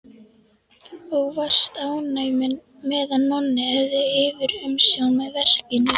Og varst ánægð með að Nonni hefði yfirumsjón með verkinu.